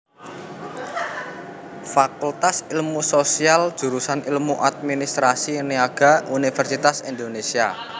Fakultas Ilmu Sosial Jurusan Ilmu Administrasi Niaga Universitas Indonésia